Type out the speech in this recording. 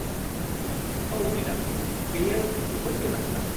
औ, मेडाम। बेयो जोबोद गोनांथार।